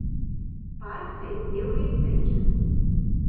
Park se je zdel res srečen.